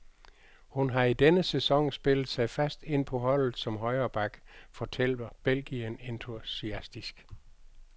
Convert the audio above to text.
Hun har i denne sæson spillet sig fast ind på holdet som højre back, fortæller belgieren entusiastisk.